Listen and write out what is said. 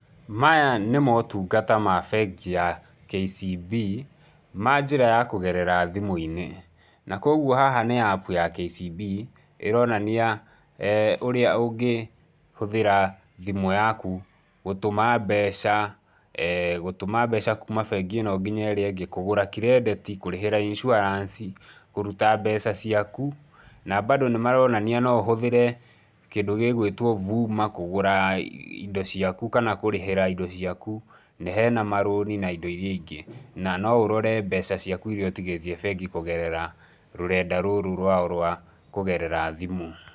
Maya nĩ motungata ma bengi ya KCB manjĩra ya kũgerera thimũ-inĩ, na kogwo haha ni apu ya KCB ĩronania ũrĩa ũngĩ hũthĩra thimũ yaku gũtũma mbeca gũtũma mbeca kuuma bengi ĩno nginya ĩrĩa ĩngĩ, kũgũra kirĩndĩti, kũrĩhĩra insurance, kũruta mbeca ciaku na bado nĩ maronania no ũhũthĩre kĩndũ gĩgũĩtwo VUMA kũgũra indo ciaku kana kũrĩhĩra indo ciaku, na hena marũni na indo iria ingĩ, na no ũrore mbeca ciaku iria ũtĩgĩtie bengi kũgerera rũrenda rũrũ rwao rwa kũgerera thimũ.